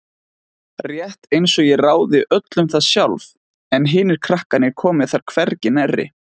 Rétt einsog ég ráði öllu um það sjálf en hinir krakkarnir komi þar hvergi nærri.